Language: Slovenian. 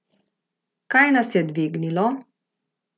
Kaj nas je dvignilo?